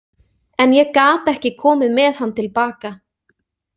En ég gat ekki komið með hann til baka.